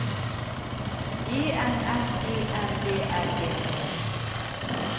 E N S E M B L E T